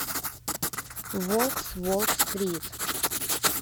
волк с уолл стрит